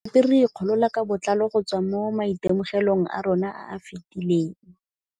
Re ne gape re ikgolola ka botlalo go tswa mo maitemogelong a rona a a fetileng.